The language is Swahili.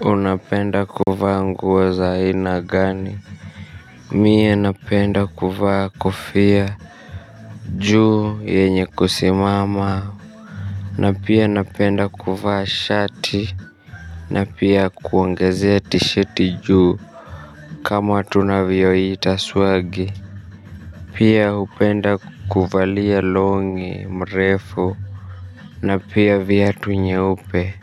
Unapenda kuvaa nguo za aina gani mi napenda kuvaa kofia juu yenye kusimama na pia napenda kuvaa shati na pia kuongezea tishati juu kama tunavyoita swagi pia hupenda kuvalia longi mrefu na pia viatu nyeupe